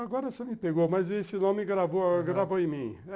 Agora você me pegou, mas esse nome gravou gravou em mim.